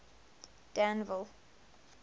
danville